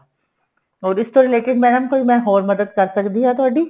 ਹੋਰ ਇਸ ਤੋਂ related madam ਮੈਂ ਕੋਈ ਹੋਰ ਮਦਦ ਕਰ ਸਕਦੀ ਆ ਤੁਹਾਡੀ